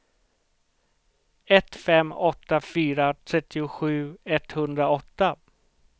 ett fem åtta fyra trettiosju etthundraåtta